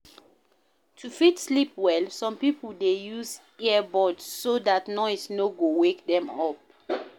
To fit sleep well, some pipo dey use ear buds so dat noise no go wake dem up